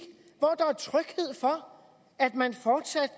hvor der er tryghed for at man fortsat